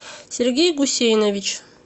сергей гусейнович